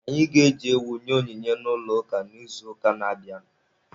Anyị ga-eji ewu nye onyinye n'ụlọ ụka n'izuụka na-abịanụ.